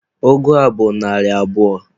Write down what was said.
Ụgụ a bụ narị abụọ.